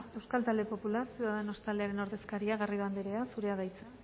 euskal talde popular ciudadanos taldearen ordezkaria garrido andrea zurea da hitza